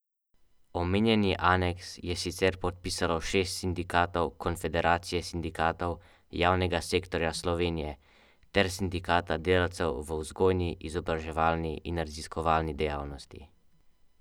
Omenjeni aneks je sicer podpisalo šest sindikatov Konfederacije sindikatov javnega sektorja Slovenije ter Sindikata delavcev v vzgojni, izobraževalni in raziskovalni dejavnosti.